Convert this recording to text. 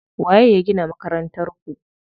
Waye ya gina Makarantar ku?